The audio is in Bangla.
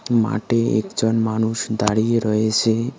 মাটে একজন মানুষ দাঁড়িয়ে রয়েসে।